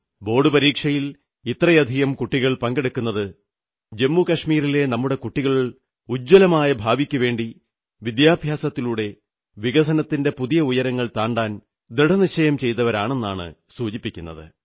board പരീക്ഷയിൽ ഇത്രയധികം കുട്ടികൾ പങ്കെടുത്തത് ജമ്മു കശ്മീരിലെ നമ്മുടെ കുട്ടികൾ ഉജ്ജ്വലമായ ഭാവിക്കുവേണ്ടി വിദ്യാഭ്യാസത്തിലൂടെ വികസനത്തിന്റെ പുതിയ ഉയരങ്ങൾ താണ്ടാൻ ദൃഢനിശ്ചയം ചെയ്തവരാണെന്നാണ് സൂചിപ്പിക്കുന്നത്